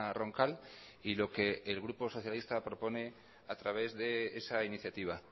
roncal y lo que el grupo socialista propone a través de esa iniciativa